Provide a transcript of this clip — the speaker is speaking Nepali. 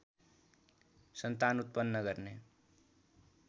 सन्तान उत्पन्न गर्ने